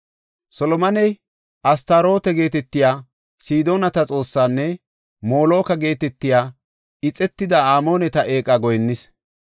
Solomoney Astarooto geetetiya Sidoonata xoosseesinne Moloka geetetiya ixetida Amooneta eeqa goyinnis.